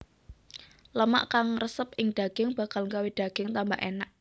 Lemak kang ngresep ing daging bakal gawé daging tambah enak